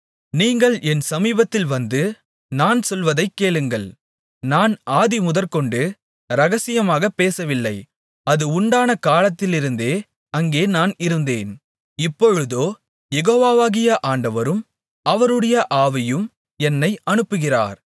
நீங்கள் என் சமீபத்தில் வந்து நான் சொல்வதைக் கேளுங்கள் நான் ஆதிமுதற்கொண்டு இரகசியமாகப் பேசவில்லை அது உண்டான காலத்திலிருந்தே அங்கே நான் இருந்தேன் இப்பொழுதோ யெகோவாவாகிய ஆண்டவரும் அவருடைய ஆவியும் என்னை அனுப்புகிறார்